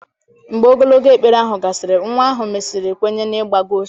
Mgbe ogologo ekpere ahụ gasịrị, nwa ahụ mesịrị kwenye n'ịgba gost